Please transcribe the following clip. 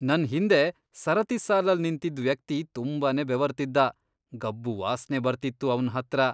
ನನ್ ಹಿಂದೆ ಸರತಿ ಸಾಲಲ್ ನಿಂತಿದ್ ವ್ಯಕ್ತಿ ತುಂಬಾನೇ ಬೆವರ್ತಿದ್ದ, ಗಬ್ಬು ವಾಸ್ನೆ ಬರ್ತಿತ್ತು ಅವ್ನ್ ಹತ್ರ.